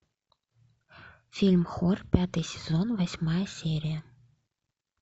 фильм хор пятый сезон восьмая серия